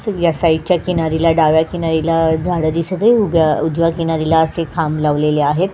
सूर्या साईडच्या किनारीला डाव्या किनारीला झाड दिसत आहे उभ्या उजव्या किनारीला असे खांब लावलेले आहेत.